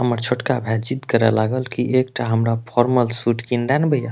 हमर छोटका भाई जिद करे लागल की एकटा हमरा फॉर्मल सूट किन द न भैया।